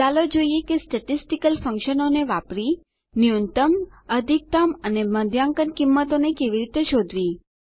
ચાલો જોઈએ કે સ્ટેટીસ્ટીકલ ફંકશનો વાપરીને ન્યૂનતમ અધિકતમ અને મધ્યાંકન કિંમતોને કેવી રીતે શોધવી